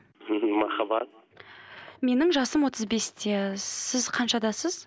ммм махаббат менің жасым отыз бесте сіз қаншадасыз